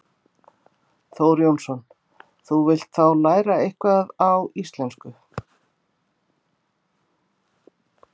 Þór Jónsson: Þú vilt þá læra eitthvað á íslensku?